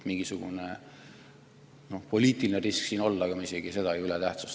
Mingisugune poliitiline risk võib siin olla, aga ma ei tähtsustaks seda üle.